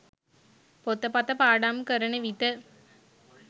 පොතපත පාඩම් කරන විට